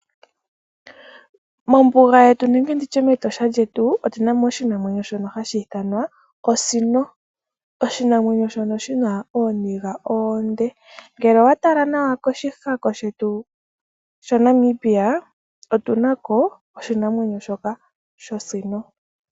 Mombuga yetu nenge nditye me Tosha lyetu, otunamo oshinamwenyo shono hashiithwanwa Osino, oshinamwenyo shono shina ooniga oonde. Ngele owatala nawa koshihako shetu sha Namibia otunako oshinamwenyo shoka shosino.